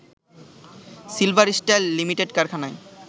silver Style লিমিটেড’কারখানায়